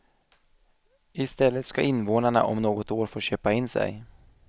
I stället ska invånarna om något år få köpa in sig.